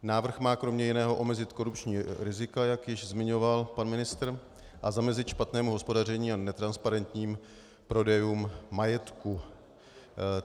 Návrh má kromě jiného omezit korupční rizika, jak již zmiňoval pan ministr, a zamezit špatnému hospodaření a netransparentním prodejům majetku.